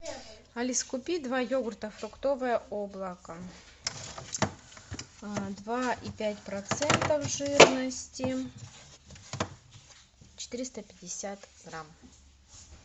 алиса купи два йогурта фруктовое облако два и пять процентов жирности четыреста пятьдесят грамм